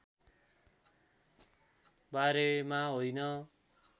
बारेमा होइन